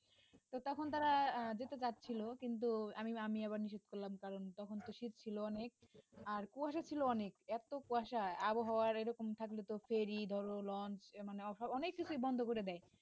তো তখন তারা যেতে চাচ্ছিল কিন্তু আমি আমি আবার নিষেধ করলাম কারন তখন তো শীত ছিল অনেক আর কুয়াশা ছিল অনেক এত কুয়াশা আবহাওয়া এরকম থাকলে তো ferry ধরো launch মানে অনেক কিছুই বন্ধ করে দেয়।